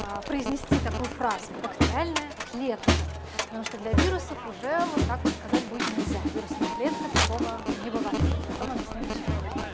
аа произнести такую фразу бактериальная клетка потому что для вирусов уже вот так вот сказать будет нельзя вирусная клетка такого не бывает потом объясню почему